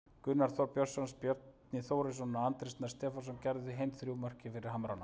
Gunnar Þórir Björnsson, Bjarni Þórisson og Andri Snær Stefánsson gerðu hin þrjú mörkin fyrir Hamrana.